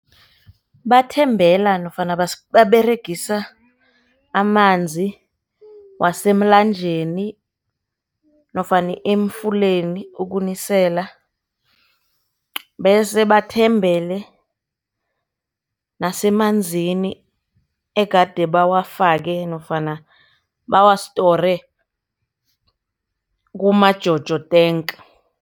Bathembela nofana baberegisa amanzi wasemlanjeni nofana emfuleni ukunisela, bese bathembele nasemanzini egade bawafake nofana bawa-store kuma-jojo tank.